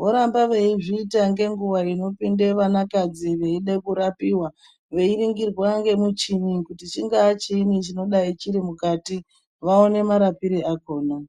voramba veizviita ngenguwa inopinde vana kadzi veide kurapiwa veingirwa ngemuchini kuti chingava chiini chinodai chiri mukati vaone marapire akona.